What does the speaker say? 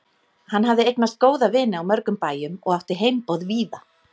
Hann hafði eignast góða vini á mörgum bæjum og átti heimboð víða.